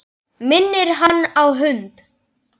Minnir hann á hund.